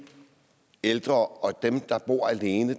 ældre og dem der bor alene